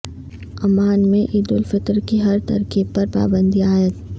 Oman میں عیدالفطر کی ہر تقریب پر پابندی عائد